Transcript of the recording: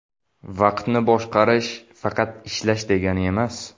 Vaqtni boshqarish faqat ishlash degani emas.